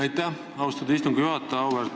Aitäh, austatud istungi juhataja!